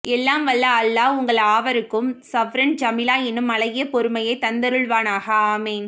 எல்லாம் வல்ல அல்லாஹ் உங்கள் யாவருக்கும் சப்ரன் ஜமீலா எனும் அழகிய பொறுமையைத் தந்தருள்வானாக ஆமீன்